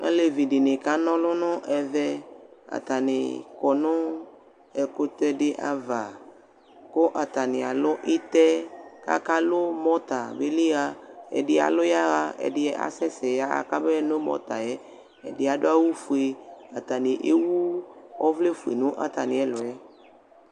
Olevi dɩnɩ kan'ɔlʋ nʋ ɛvɛ : atanɩ kɔ nʋ ɛkʋtɛdɩ ava; kʋ atanɩ alʋ ɩtɛ, k'akalʋ mɔta beli ɣa Ɛdɩ alʋ yaɣa, ɛdɩ asɛ sɛ yaɣa k'omee no mɔta yɛ Ɛdɩ adʋ awʋfue , atanɩ ewu ɔvlɛfue nʋ atamɩ ɛlʋɛ